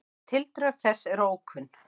Tildrög þessa eru ókunn.